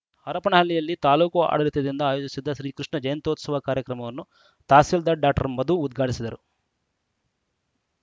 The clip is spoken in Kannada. ಹರಪನಹಳ್ಳಿಯಲ್ಲಿ ತಾಲೂಕು ಆಡಳಿತದಿಂದ ಆಯೋಜಿಸಿದ್ದ ಶ್ರೀಕೃಷ್ಣ ಜಯಂತ್ತೋತ್ಸವ ಕಾರ್ಯಕ್ರಮವನ್ನು ತಹಸೀಲ್ದಾರ ಡಾಕ್ಟರ್ ಮಧು ಉದ್ಘಾಟಿಸಿದರು